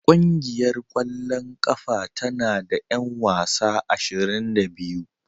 Ƙungiyar ƙwallon ƙafa tana da 'yan wasa ashirin da biyu